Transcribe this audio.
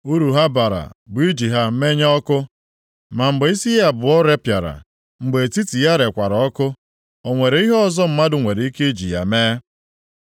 Uru ha bara bụ iji ha menye ọkụ. Ma mgbe isi ya abụọ repịara, mgbe etiti ya rekwara ọkụ, o nwere ihe ọzọ mmadụ nwere ike iji ya mee?